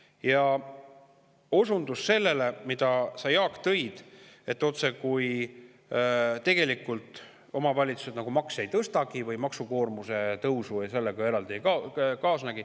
Jaak, sa osundasid, et tegelikult omavalitsused otsekui makse ei tõstagi või maksukoormuse tõusu sellega eraldi ei kaasne.